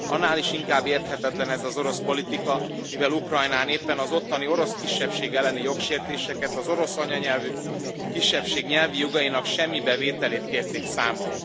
Annál is inkább érthetetlen ez az orosz politika, mivel Ukrajnán éppen az ottani orosz kisebbség elleni jogsértéseket, az orosz anyanyelvű kisebbség nyelvi jogainak semmibe vételét kérték számon.